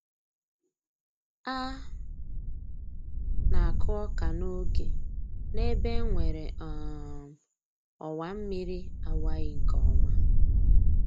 A na-akụ ọka n'oge n'ebe e nwere um ọwa mmiri awaghị nke ọma